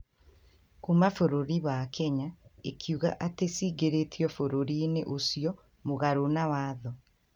kuma bũrũri wa Kenya ĩkiuga atĩ cingĩrĩtio bũrũriinĩ ũcio mũgarũ na watho